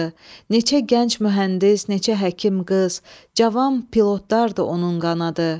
neçə gənc mühəndis, neçə həkim qız, cavan pilotlar da onun qanadı.